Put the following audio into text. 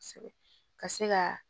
Kosɛbɛ ka se ka